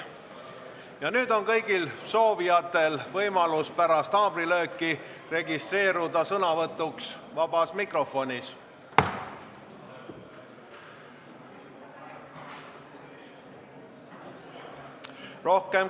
Ja nüüd on kõigil soovijatel võimalus pärast haamrilööki registreeruda sõnavõtuks vabas mikrofonis.